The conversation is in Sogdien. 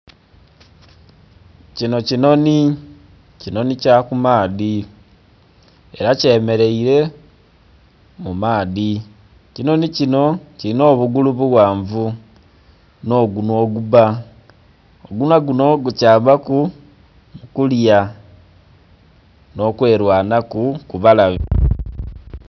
Kinho kinhonhi, kinhonhi kya kumaadhi era kye mereire mu maadhi, ekinhonhi kinho kilinha obugulu bughanvu nho ggunhwa ogubba, oggunhwa gunho gu kayambaku okulya nho kwe lwanhaku ku balabe.